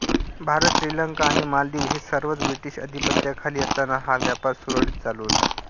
भारत श्रीलंका आणि मालदीव हे सर्वच ब्रिटिश अधिपत्याखाली असताना हा व्यापार सुरळीत चालू होता